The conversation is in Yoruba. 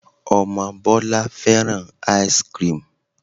Ọmọ Bọlá fẹ́ràn ice-cream